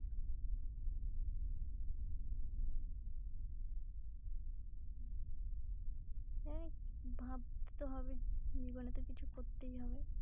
হ্যাঁ ভাবতে তো হবেই জীবনে তো কিছু করতেই হবে।